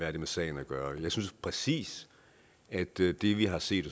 har det med sagen at gøre jeg synes præcis at det det vi har set